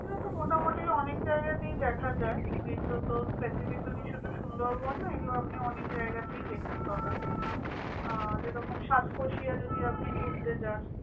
এগুলো তো মোটামুটি অনেক জায়গাতেই দেখা যায়। এগুলো তো specifically শুধু সুন্দরবন না, এগুলো আপনি অনেক জায়গাতেই দেখতে পাবেন। আহ যে রকম সাতকোশিয়া যদি আপনি ঘুরতে যান।